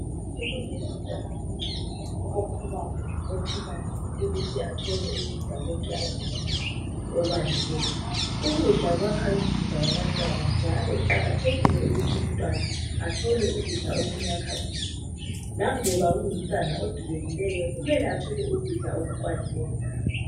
Ilungelo lomntwana wonke okhulayo ophilayo ukuthi athole ukudla konke akufunayo okwaneleyo ukudla kwakha imizimba yabantwana njalo kuqakathekile ukuthi umntwana athole ukudla okumyakha umzimba laloba kungumntwana odubekikeyo kumele athole ukudla okukwanileyo.